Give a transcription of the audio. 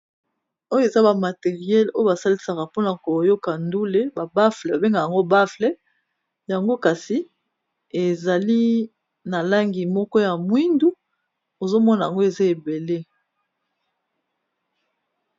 oyo eza bamateriele oyo basalisaka mpona koyoka ndule babuffle babenga yango baffle yango kasi ezali na langi moko ya mwindu ozomona yango eza ebele